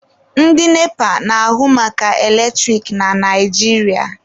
Ndị NEPA na-ahụ maka eletrik na Naijiria.